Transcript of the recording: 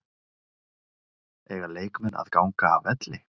Eiga leikmenn að ganga af velli?